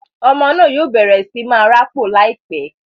Ọmọ náà yóò bẹrẹ sí máa rapo laipẹ